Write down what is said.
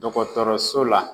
Dɔgɔtɔrɔso la